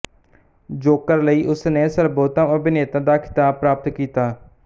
Joker ਲਈ ਉਸਨੇ ਸਰਬੋਤਮ ਅਭਿਨੇਤਾ ਦਾ ਖਿਤਾਬ ਪ੍ਰਾਪਤ ਕੀਤਾ